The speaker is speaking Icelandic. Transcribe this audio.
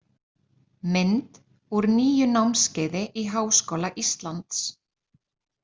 Mynd úr nýju námskeiði í Háskóla Íslands.